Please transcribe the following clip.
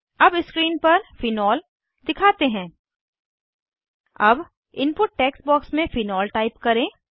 अब स्क्रीन पर फेनोल दिखाते हैं अब इनपुट टेक्स्ट बॉक्स में फेनोल टाइप करें